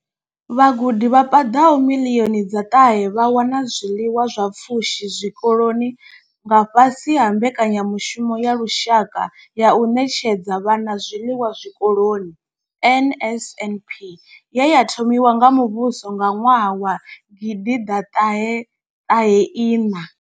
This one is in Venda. Vhagudi vha paḓaho miḽioni dza ṱahe vha wana zwiḽiwa zwa pfushi zwikoloni nga fhasi ha mbekanyamushumo ya lushaka ya u ṋetshedza vhana zwiḽiwa zwikoloni NSNP ye ya thomiwa nga muvhuso nga ṅwaha wa gidi ḓa ṱahe ṱahe iṋa.